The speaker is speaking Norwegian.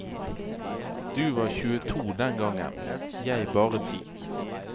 Du var tjueto den gangen, jeg bare ti.